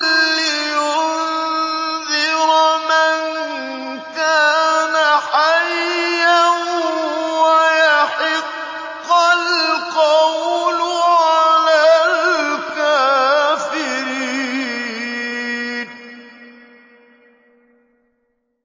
لِّيُنذِرَ مَن كَانَ حَيًّا وَيَحِقَّ الْقَوْلُ عَلَى الْكَافِرِينَ